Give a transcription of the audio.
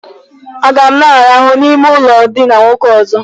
Aga m na- arahụ n'ime ụlọ ndina nwoke ọzọ?